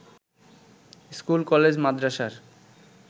স্কুল-কলেজ-মাদ্রাসার